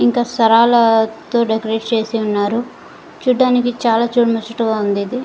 ఇంకా డెకరేట్ చేసి ఉన్నారు చూడటానికి చాల చుడముచ్చటగ ఉంది ఇది.